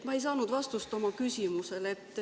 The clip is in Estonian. Ma ei saanud vastust oma küsimusele.